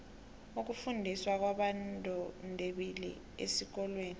ukufundiswa kwabondebembili esikolweni